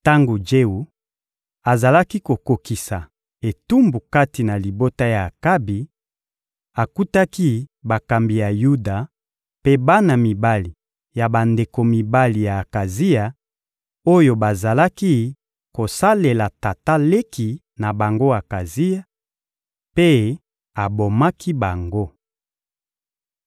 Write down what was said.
Tango Jewu azalaki kokokisa etumbu kati na libota ya Akabi, akutaki bakambi ya Yuda mpe bana mibali ya bandeko mibali ya Akazia, oyo bazalaki kosalela tata leki na bango Akazia, mpe abomaki bango.